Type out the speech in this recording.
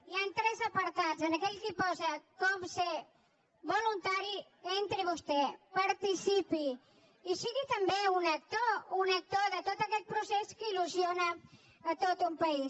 hi han tres apartats en aquell que posa com ser voluntari entrihi vostè participi i sigui també un actor un actor de tot aquest procés que il·lusiona tot un país